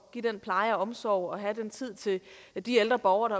give pleje og omsorg og have den tid til de ældre borgere